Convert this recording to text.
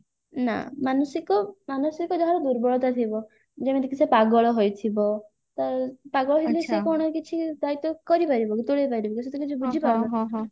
ନା ମାନସିକ ମାନସିକ ଯାହାର ଦୁର୍ବଳତା ଥିବ ଯେମିତି କି ସେ ପାଗଳ ହୋଇଥିବ ତ ପାଗଳ ହେଲେ ସେ କଣ କିଛି ଦାଇତ୍ଵ କରିପାରିବ କି ତୁଲେଇ ପାରିବ କି ସେ ତ କିଛି ବୁଝିପାରିବନି